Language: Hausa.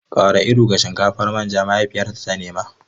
Ƙara iru ga shinkafar manja! mahaifiyarta ta nema.